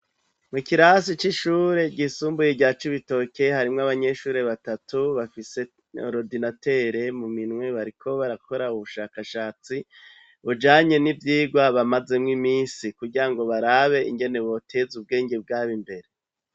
Mu kirasi c'ishure ryisumbuye rya Cibitoke harimw'abanyeshuri batatu bafise oridinatere mu minwe bariko barakora ubushakashatsi, bujanye n'ivyigwa bamaze mw imisi kugira ngo barabe ingene botez'ubwenge bwab' imbere.